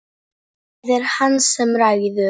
Það er hann sem ræður.